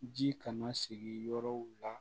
Ji kana sigi yɔrɔw la